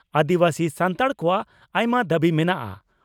ᱟᱹᱫᱤᱵᱟᱹᱥᱤ ᱥᱟᱱᱛᱟᱲ ᱠᱚᱣᱟᱜ ᱟᱭᱢᱟ ᱫᱟᱹᱵᱤ ᱢᱮᱱᱟᱜᱼᱟ ᱾